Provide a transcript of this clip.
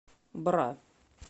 бра